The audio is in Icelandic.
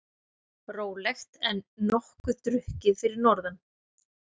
Rólegt en nokkuð drukkið fyrir norðan